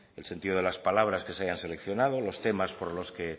el sentido de las palabras que se hayan seleccionados los temas por lo que